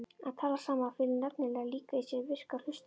Að tala saman felur nefnilega líka í sér virka hlustun.